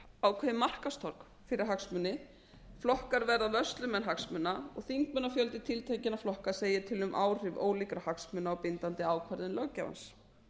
ákveðið markaðstorg fyrir hagsmuni flokkar verða vörslumenn hagsmuna og þingmannafjöldi tiltekinna flokka segir til um áhrif ólíkra hagsmuna á bindandi ákvörðun löggjafans í